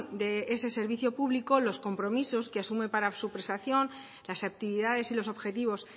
de ese servicio público los compromisos que asume para su prestación las actividades y los objetivos